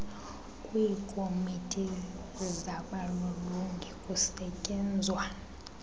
kwiikomiti zabalolongi kusetyenzwa